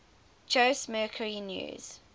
jose mercury news